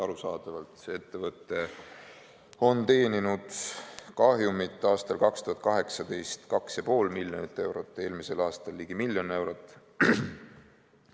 Arusaadavalt on see ettevõte teeninud aastal 2018 umbes 2,5 miljonit eurot kahjumit, eelmisel aastal ligi miljon eurot.